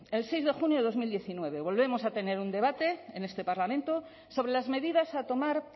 el seis de junio de dos mil diecinueve volvemos a tener un debate en este parlamento sobre las medidas a tomar